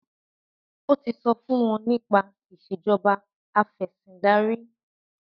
o tí so fún wón nípa Ìṣèjọba Afẹ̀sìndarí